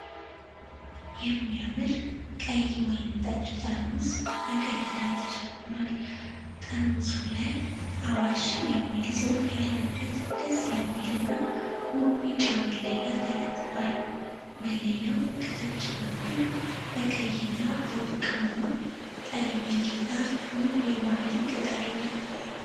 የሚያምር ቀይ ወይን ጠጅ ጠርሙስ በቀይ ክዳን ተሸፍኗል። ጠርሙሱ ላይ "አዋሽ" የሚል ጽሑፍ ያለበት ደስ የሚል እና ውብ ቢጫ መለያ ተለጥፏል። መለያው ከታች በኩል በቀይ እና በወርቃማ ቀለም ያጌጠ ውብ የባህል ቅጥ አለው።